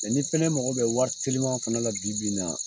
ni fɛnɛ mago bɛ wari teliman fana la bibi in na